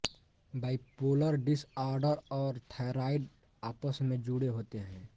bipolar disorder और thyroid आपस में जुड़े होते हैं